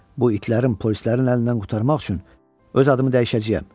Bu itlərin, polislərin əlindən qurtarmaq üçün öz adımı dəyişəcəyəm.